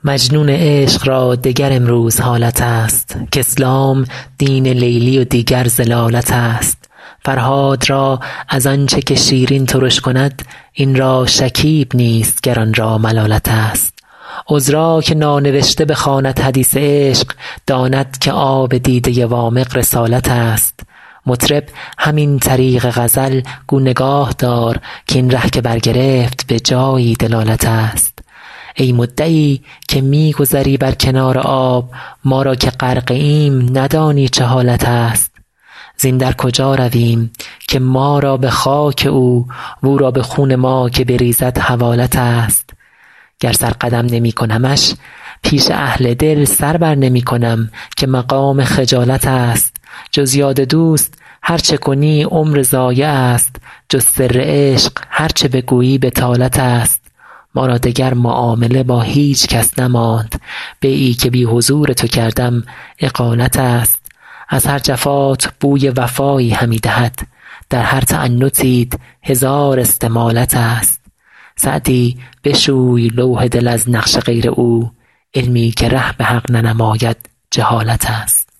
مجنون عشق را دگر امروز حالت است کاسلام دین لیلی و دیگر ضلالت است فرهاد را از آن چه که شیرین ترش کند این را شکیب نیست گر آن را ملالت است عذرا که نانوشته بخواند حدیث عشق داند که آب دیده وامق رسالت است مطرب همین طریق غزل گو نگاه دار کاین ره که برگرفت به جایی دلالت است ای مدعی که می گذری بر کنار آب ما را که غرقه ایم ندانی چه حالت است زین در کجا رویم که ما را به خاک او و او را به خون ما که بریزد حوالت است گر سر قدم نمی کنمش پیش اهل دل سر بر نمی کنم که مقام خجالت است جز یاد دوست هر چه کنی عمر ضایع است جز سر عشق هر چه بگویی بطالت است ما را دگر معامله با هیچ کس نماند بیعی که بی حضور تو کردم اقالت است از هر جفات بوی وفایی همی دهد در هر تعنتیت هزار استمالت است سعدی بشوی لوح دل از نقش غیر او علمی که ره به حق ننماید جهالت است